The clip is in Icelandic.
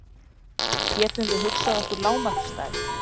Getum við hugsað okkur lágmarksstærð?